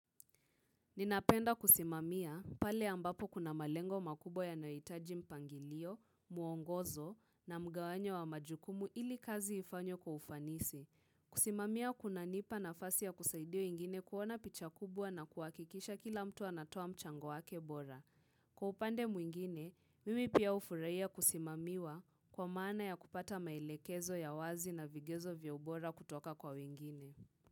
Ninapenda kusimamia pale ambapo kuna malengo makubwa yanayohitaji mpangilio, mwongozo na mgawanyo wa majukumu ili kazi ifanywe kwa ufanisi. Kusimamia kunanipa nafasi ya kusaidia wengine kuona picha kubwa na kuhakikisha kila mtu anatoa mchango wake bora. Kwa upande mwingine, mimi pia hufurahia kusimamiwa kwa maana ya kupata maelekezo ya wazi na vigezo vya ubora kutoka kwa wengine.